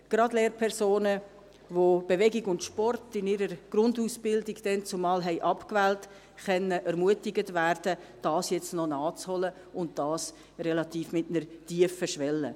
Gerade Lehrpersonen, die Bewegung und Sport seinerzeit in ihrer Grundausbildung abgewählt haben, können ermutigt werden, es nun noch nachzuholen – und dies mit einer relativ tiefen Schwelle.